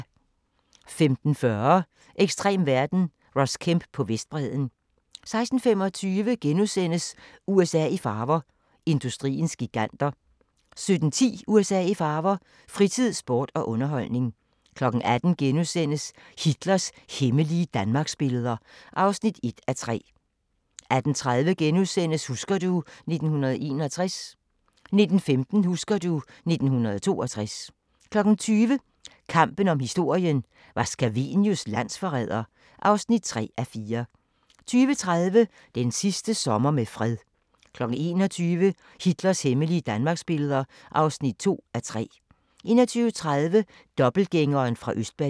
15:40: Ekstrem verden – Ross Kemp på Vestbredden 16:25: USA i farver – industriens giganter * 17:10: USA i farver – fritid, sport og underholdning 18:00: Hitlers hemmelige danmarksbilleder (1:3)* 18:30: Husker du ... 1961 * 19:15: Husker du ... 1962 20:00: Kampen om historien – var Scavenius landsforræder? (3:4) 20:30: Den sidste sommer med fred 21:00: Hitlers hemmelige Danmarksbilleder (2:3) 21:30: Dobbeltgængeren fra Østberlin